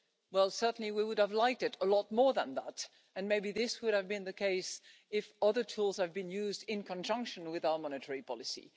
Well, certainly we would have liked it a lot more than that, and maybe this would have been the case if other tools had been used in conjunction with our monetary policy.